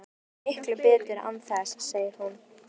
Mér líður miklu betur án þess, segir hún.